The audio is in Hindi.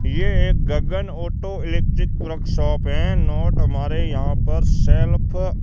यह एक गगन ऑटो इलेक्ट्रिक वर्कशॉप है नोट हमारे यहां पर सेल्फ --